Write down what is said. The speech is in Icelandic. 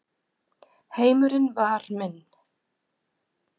Heimurinn var minn.